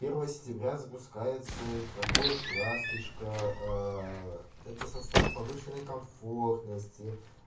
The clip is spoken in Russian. первого сентября запускается электропоезд ласточка это состав повышенной комфортности